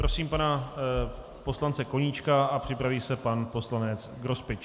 Prosím pana poslance Koníčka a připraví se pan poslanec Grospič.